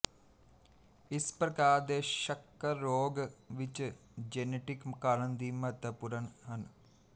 ਇਸ ਪ੍ਰਕਾਰ ਦੇ ਸ਼ੱਕਰ ਰੋਗ ਵਿੱਚ ਜੇਨੇਟਿਕ ਕਾਰਨ ਵੀ ਮਹੱਤਵਪੂਰਣ ਹਨ